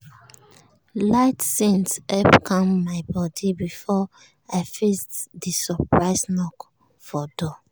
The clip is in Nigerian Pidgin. light scent help calm my body before i face the surprise knock for door.